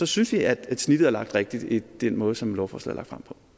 synes vi at snittet er lagt rigtigt i den måde som lovforslaget